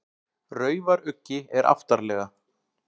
Raufaruggi er aftarlega.